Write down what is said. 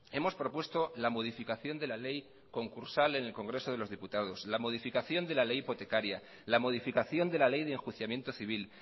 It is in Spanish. hemos propuesto la modificación de la ley concursal en el congreso de los diputados la modificación de la ley hipotecaria la modificación de la ley de enjuiciamiento civil